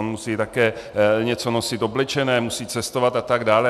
On musí také nosit něco oblečené, musí cestovat a tak dále.